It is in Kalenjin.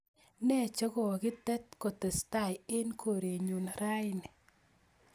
Ne chegogitet kotestai en korenyun raini